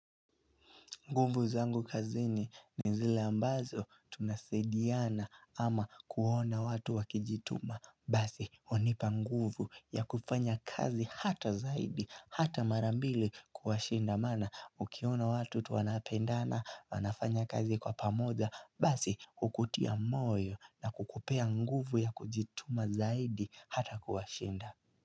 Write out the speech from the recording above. Nguvu zangu kazini ni zile ambazo tunasaidiana ama kuona watu wakijituma. Basi, hunipa nguvu ya kufanya kazi hata zaidi, hata mara mbili kuwashinda. Maana, ukiona watu tu wanapendana, wanafanya kazi kwa pamoja. Basi, hukutia moyo na kukupea nguvu ya kujituma zaidi hata kuwashinda.